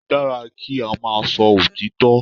Ó dára kí á máa sọ òtítọ́.